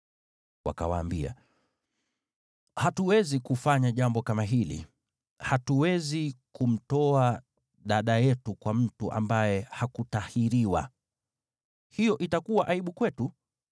Wakawaambia, “Hatuwezi kufanya jambo kama hili, hatuwezi kumtoa dada yetu kwa mtu ambaye hakutahiriwa. Hiyo itakuwa aibu kwetu.